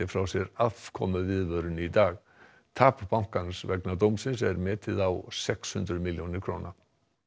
frá sér afkomuviðvörun í dag tap bankans vegna dómsins er metið á sex hundruð milljónir króna